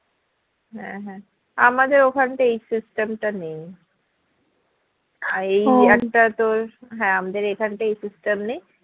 হ্যাঁ হ্যাঁ আমাদের ওখানটা এই system টা নেই আর এই টা তোর হ্যাঁ আমাদের এখানটা এই system নেই